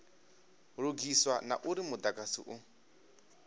lugiswa na uri mudagasi u